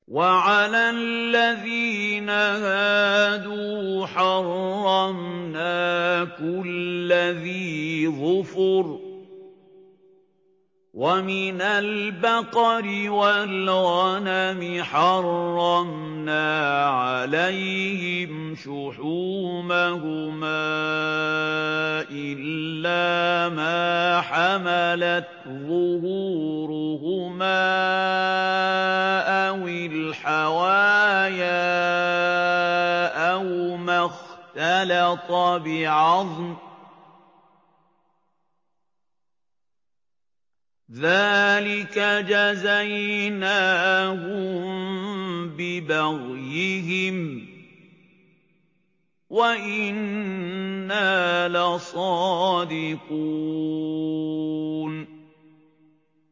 وَعَلَى الَّذِينَ هَادُوا حَرَّمْنَا كُلَّ ذِي ظُفُرٍ ۖ وَمِنَ الْبَقَرِ وَالْغَنَمِ حَرَّمْنَا عَلَيْهِمْ شُحُومَهُمَا إِلَّا مَا حَمَلَتْ ظُهُورُهُمَا أَوِ الْحَوَايَا أَوْ مَا اخْتَلَطَ بِعَظْمٍ ۚ ذَٰلِكَ جَزَيْنَاهُم بِبَغْيِهِمْ ۖ وَإِنَّا لَصَادِقُونَ